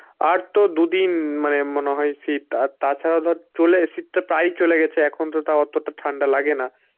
আর তো দু দিন মানে মনে হয় শীত আর তাছাড়া ধর চুলের শীত টা প্রায়ই চলে গেছে এখন তো তাও অতটা ঠান্ডা লাগে না.